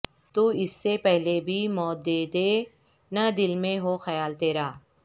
تواس سے پہلے ہی موت دے دے نہ دل میں ہو خیال تیرا